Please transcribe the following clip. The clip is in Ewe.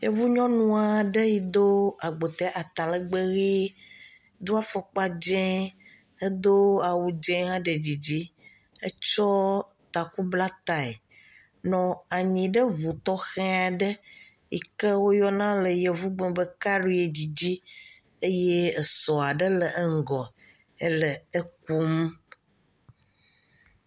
Yevu nyɔnu aɖe yi do agbote atalegbw ʋi. do afɔkpa dze, edo awu dze hã ɖe dzidzi. Etsɔ taku bla tae nɔ anyi ɖe ŋu tɔxɛ aɖe yi ke woyɔna le yevugbeme be kiaɖiedzi di eye esɔ aɖe le eŋɔ ele eƒom.